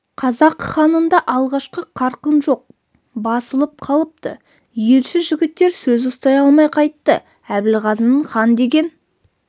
қазақ ханында алғашқы қарқын жоқ басылып қалыпты елші жігіттер сөз ұстай алмай қайтты әбілғазының хан деген